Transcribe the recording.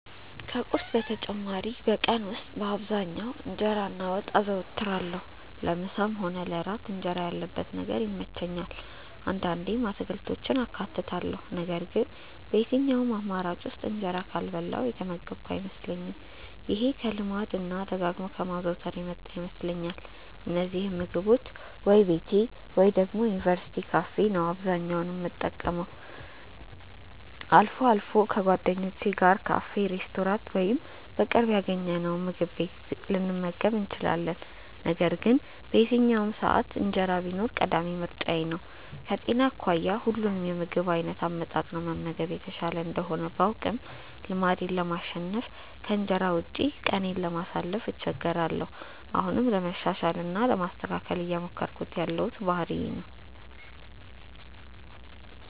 ከቁርስ በተጨማሪ በቀን ውስጥ በአብዛኛው እንጀራ እና ወጥ አዘወትራለሁ። ለምሳም ሆነ ለእራት እንጀራ ያለበት ነገር ይመቸኛል። አንዳንዴም አትክልቶችን አካትታለሁ ነገር ግን በየትኛውም አማራጭ ውስጥ እንጀራ ካልበላሁ የተመገብኩ አይመስለኝም። ይሄ ከልማድ እና ደጋግሞ ከማዘውተር የመጣ ይመስለኛል። እነዚህን ምግቦች ወይ ቤቴ ወይ ደግሞ የዩኒቨርስቲ ካፌ ነው አብዛኛውን የምጠቀመው። አልፎ አልፎ ከጓደኞቼ ጋር ካፌ፣ ሬስቶራንት ወይም በቅርብ ያገኘነውምግብ ቤት ልንመገብ እንችላለን። ነገር ግን በየትኛውም ሰዓት እንጀራ ቢኖር ቀዳሚ ምርጫዬ ነው። ከጤና አኳያ ሁሉንም የምግብ አይነት አመጣጥኖ መመገብ የተሻለ እንደሆነ ባውቅም ልማዴን ለማሸነፍ እና ከእንጀራ ውጪ ቀኔን ለማሳለፍ እቸገራለሁ። አሁንም ለማሻሻል እና ለማስተካከል እየሞከርኩት ያለው ባህሪዬ ነው።